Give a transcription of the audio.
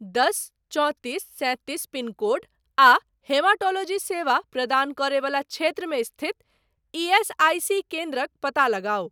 दश चौंतीस सैंतीस पिनकोड आ हेमाटोलोजी सेवा प्रदान करय बला क्षेत्रमे स्थित ईएसआईसी केन्द्रक पता लगाउ।